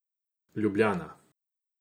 Ljubljana.